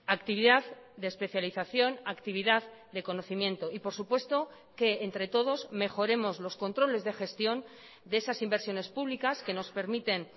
actividad de especialización actividad de conocimiento y por supuesto que entre todos mejoremos los controles de gestión de esas inversiones públicas que nos permiten